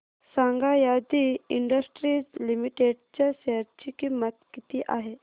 सांगा Aadi industries limited च्या share ची किंमत किती आहे